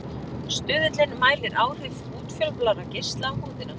Stuðullinn mælir áhrif útfjólublárra geisla á húðina.